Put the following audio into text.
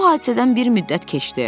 Bu hadisədən bir müddət keçdi.